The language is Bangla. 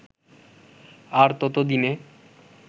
আর তত দিনে